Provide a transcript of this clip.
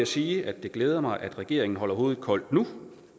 sige at det glæder mig at regeringen holder hovedet koldt nu